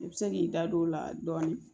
I bɛ se k'i da don o la dɔɔni